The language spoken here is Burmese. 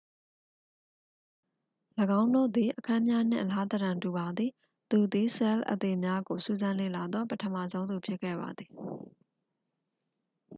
၎င်းတို့သည် အခန်းများနှင့် အလားသဏ္ဍာန်တူပါသည် သူသည် ဆဲလ်အသေများကိုစူးစမ်းလေ့လာသော ပထမဆုံးသူဖြစ်ခဲ့ပါသည်